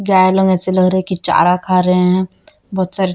गाय लोग ऐसे लग रहा है कि चारा खा रहे है बोहोत सारे--